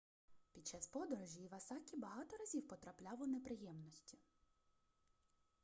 під час подорожі івасакі багато разів потрапляв у неприємності